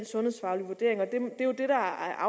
har